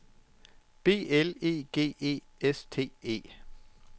B L E G E S T E